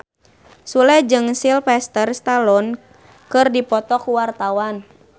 Sule jeung Sylvester Stallone keur dipoto ku wartawan